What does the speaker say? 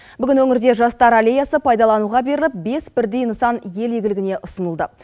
бүгін өңірде жастар аллеясы пайдалануға беріліп бес бірдей нысан ел игілігіне ұсынылды